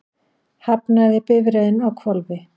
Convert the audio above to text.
Hafnaði bifreiðin á hvolfi